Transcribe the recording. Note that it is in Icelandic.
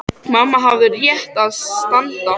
Mamma hafði á réttu að standa.